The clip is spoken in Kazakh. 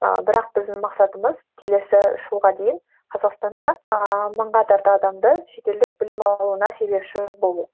ыыы бірақ біздің мақсатымыз келесі жылға дейін қазақстанда ыыы мыңға тарта адамды шетелдік білім алуына себепші болу